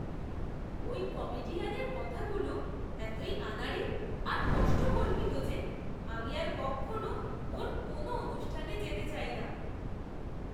ওই কমেডিয়ানের কথাগুলো এতই আনাড়ি আর কষ্টকল্পিত যে আমি আর কক্ষনও ওর কোনও অনুষ্ঠানে যেতে চাই না।